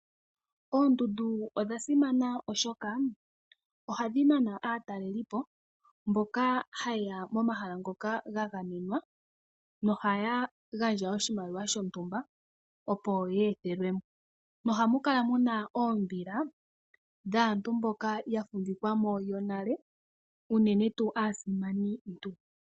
Oondundu odha simana oshoka oha dhi nana aatalelipo mboka ha yeya momahala ngoka gagamenwa, yo oha ya gandja oshimaliwa shontumba opo ye ethelwemo, mo oha mu kala muna oombila dhaantu mboka ya fumbikwamo nale, uunene tuu aasimani ntu.